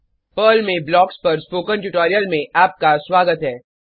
Perl में blocks पर spoken tutorial में आपका स्वागत है